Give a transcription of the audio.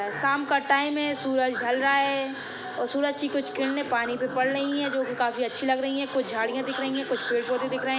शाम का टाइम हैं सूरज ढल रहा हैं और सूरज की कुछ किरने पानी पर पड़ रही हैं जो की काफी अच्छी लग रही हैं कुछ झड़िया दिख रही हैं कुछ पेड़ पौधे दिख रहे हैं।